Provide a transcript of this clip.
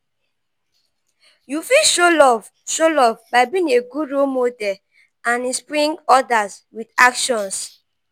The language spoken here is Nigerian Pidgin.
you fit show love show love by being a good role model and inspring others with actions